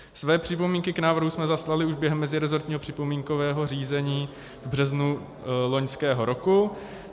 Své připomínky k návrhu jsme zaslali už během meziresortního připomínkového řízení v březnu loňského roku.